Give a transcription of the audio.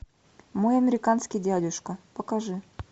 мой американский дядюшка покажи